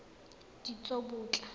ditsobotla